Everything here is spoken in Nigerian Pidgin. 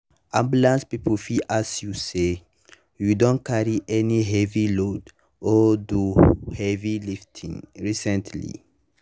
ambulance people fit ask you say “you don carry any heavy load or do heavy lifting recently?”